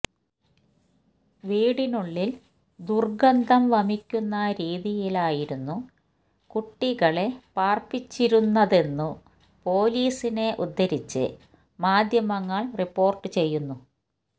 വീടിനുള്ളില് ദുര്ഗന്ധം വമിക്കുന്ന രീതിയിലായിരുന്നു കുട്ടികളെ പാര്പ്പിച്ചിരുന്നതെന്നു പോലീസിനെ ഉദ്ധരിച്ച് മാധ്യമങ്ങള് റിപ്പോര്ട്ട് ചെയ്യുന്നു